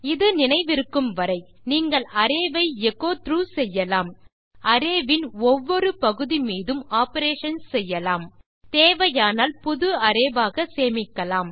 இது நினைவிருக்கும் வரை நீங்கள் அரே வை எச்சோ த்ராக் செய்யலாம் அரே இன் ஒவ்வொரு பகுதி மீதும் ஆப்பரேஷன்ஸ் செய்யலாம் தேவையானால் புது அரே ஆக சேமிக்கலாம்